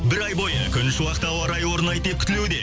бір ай бойы күншуақты ауа райы орнайды деп күтілуде